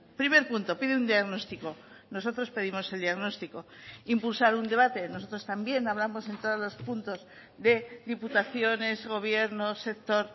primer punto pide un diagnóstico nosotros pedimos el diagnóstico impulsar un debate nosotros también hablamos en todos los puntos de diputaciones gobiernos sector